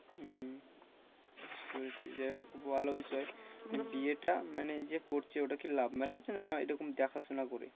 উম বুঝতে পেরেছি যাই হোক খুব ভালো বিষয় মানে বিয়েটা মানে যে করছে ওটা কি love marriage না এরকম দেখাশোনা করে?